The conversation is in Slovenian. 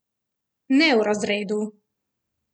Ne v razredu.